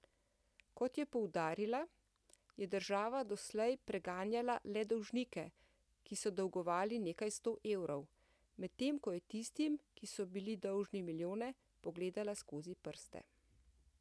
Kot je poudarila, je država doslej preganjala le dolžnike, ki so dolgovali nekaj sto evrov, medtem ko je tistim, ki so bili dolžni milijone, pogledala skozi prste.